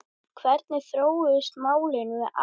Hvernig þróuðust málin með Aron?